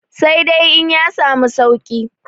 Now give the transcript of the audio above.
sai dai in ya samu sauki